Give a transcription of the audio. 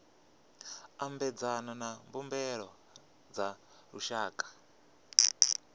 ambedzana na mbumbano dza lushaka